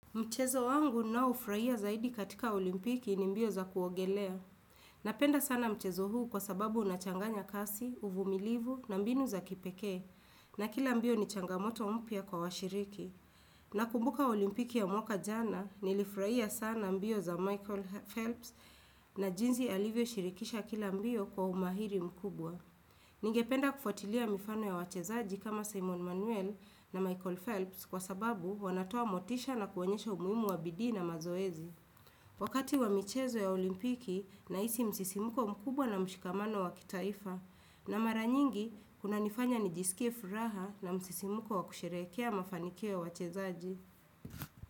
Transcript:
Mchezo wangu ninaofurahia zaidi katika olimpiki ni mbio za kuogelea. Napenda sana mchezo huu kwa sababu unachanganya kasi, uvumilivu na mbinu za kipekee. Na kila mbio ni changamoto mpya kwa washiriki. Nakumbuka olimpiki ya mwaka jana nilifurahia sana mbio za Michael Phelps na jinsi alivyoshirikisha kila mbio kwa umahiri mkubwa. Ningependa kufuatilia mifano ya wachezaji kama Simon Manuel na Michael Phelps kwa sababu wanatoa motisha na kuonyesha umuhimu wa bidii na mazoezi. Wakati wa michezo ya olimpiki ninahisi msisimuko mkubwa na mshikamano wa kitaifa, na mara nyingi kunanifanya nijisikiae furaha na msisimuko wa kusherekea mafanikio ya wachezaji.